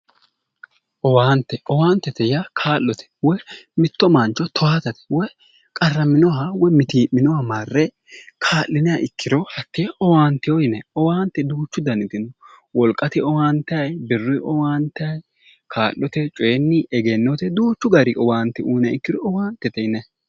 Owaante, owaantete yaa kaa'lote. Woyi mitto mancho toyaatate woy qarraminoha woy mitii'minoha marre kaa'iniha ikkiro owaanteyo yinanni. Owaante duuchu danitino. Wolqate owaantayi, birruyi owaantayi, kaa'lote, coyinni, egennote duuchu gari owaante uyiniro owaantete yinanni.